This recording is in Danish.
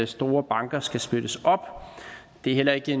store banker skal splittes op det er heller ikke